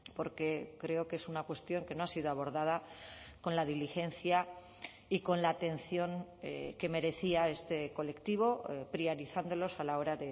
porque creo que es una cuestión que no ha sido abordada con la diligencia y con la atención que merecía este colectivo priorizándolos a la hora